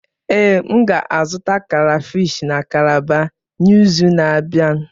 Ee, m ga-azụta krayfish na kalabar n'izu na-abịa?